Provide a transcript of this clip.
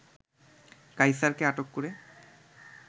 কায়ছারকে আটক করে